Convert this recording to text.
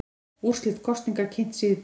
Úrslit kosninga kynnt síðdegis